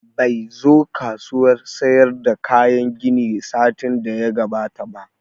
Bai zo kasuwan sayar da kayan gini satin da ya gabata ba